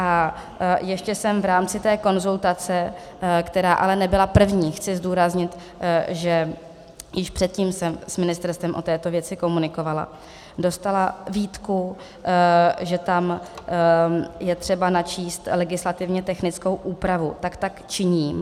A ještě jsem v rámci té konzultace - která ale nebyla první, chci zdůraznit, že již předtím jsem s ministerstvem o této věci komunikovala - dostala výtku, že tam je třeba načíst legislativně technickou úpravu, takže tak činím.